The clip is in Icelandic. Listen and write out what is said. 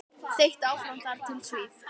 Þeytt áfram þar til stíft.